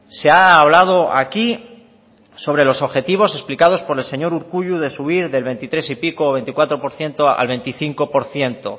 se ha hablado aquí sobre los objetivos explicados por el señor urkullu de subir del veintitrés y pico veinticuatro por ciento al veinticinco por ciento